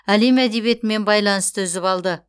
әлем әдебиетімен байланысты үзіп алды